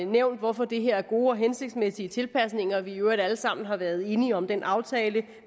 nævnt hvorfor det her er gode og hensigtsmæssige tilpasninger og at vi i øvrigt alle sammen har været enige om den aftale